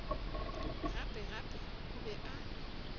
gape gape o be a